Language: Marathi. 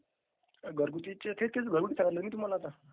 is not clear